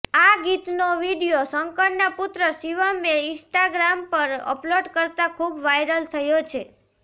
આ ગીતનો વિડીયો શંકરના પુત્ર શિવમે ઇંસ્ટાગ્રામ પર અપલોડ કરતાં ખુબ વાયરલ થયો છે